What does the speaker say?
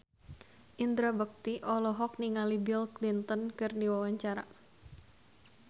Indra Bekti olohok ningali Bill Clinton keur diwawancara